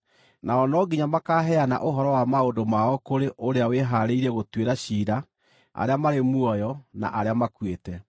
Nao no nginya makaaheana ũhoro wa maũndũ mao kũrĩ ũrĩa wĩhaarĩirie gũtuĩra ciira arĩa marĩ muoyo na arĩa makuĩte.